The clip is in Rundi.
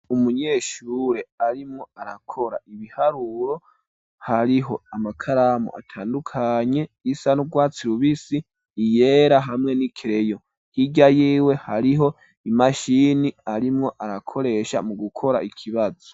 Umunyeshure arimwo arakora ibiharuro, hariho amakaramu atandukanye isa n'urwatsi rubisi iyera hamwe n'ikireyo hirya yiwe hariho imashini arimwo arakoresha mu gukora ikibazo.